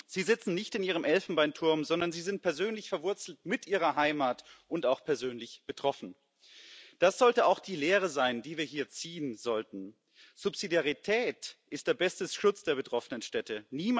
Sie sitzen nicht in ihrem Elfenbeinturm, sondern sie sind persönlich verwurzelt mit ihrer Heimat und auch persönlich betroffen. Das sollte auch die Lehre sein, die wir hier ziehen sollten Subsidiarität ist der beste Schutz der betroffenen Städte.